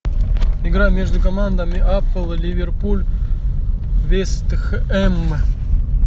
игра между командами апл ливерпуль вест хэм